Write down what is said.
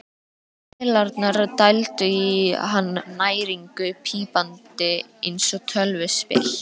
Vélarnar dældu í hann næringu, pípandi eins og tölvuspil.